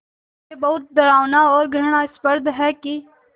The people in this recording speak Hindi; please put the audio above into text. ये बहुत डरावना और घृणास्पद है कि